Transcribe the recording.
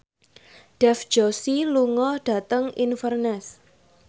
Dev Joshi lunga dhateng Inverness